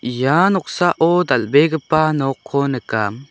ia noksao dal·begipa nokko nika.